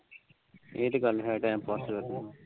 ਇਹ ਤੇ ਗੱਲ ਹੈ time pass ਤਾ ਕਰਨਾ